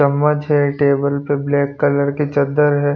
चम्मच है टेबल पर ब्लैक कलर की चद्दर है।